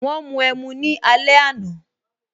Wọn mu ẹmu ní alẹ àná